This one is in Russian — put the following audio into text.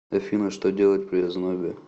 афина что делать при ознобе